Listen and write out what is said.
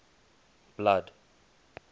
blood